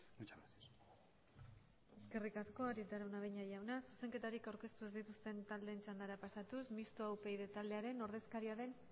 muchas gracias eskerrik asko arieta araunabeña jauna zuzenketarik aurkeztu ez dituzten taldeen txandara pasatuz mistoa upyd taldearen ordezkaria den